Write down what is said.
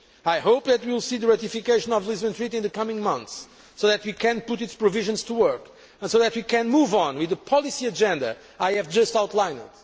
I hope that we will see the ratification of the Lisbon Treaty in the coming months so that we can put its provisions to work and so that we can move on with the policy agenda I have just outlined.